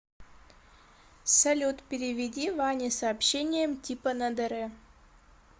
салют переведи ване с сообщением типа на др